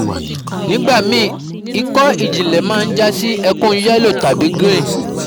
Nigbami iko ijinle na ma jasi ekun yellow tabi green